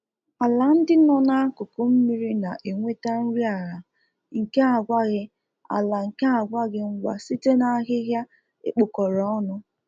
Ala ndị nọ na-akụkụ mmiri na enweta nri ala nke agwaghị ala nke agwaghị ngwa site n'ahịha ekpokọrọ ọnụ